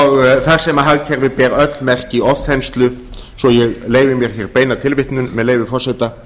og þar sem hagkerfið ber öll merki ofþenslu svo ég leyfi mér hér beina tilvitnun með leyfi forseta